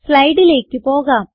സ്ലൈഡിലേക്ക് പോകാം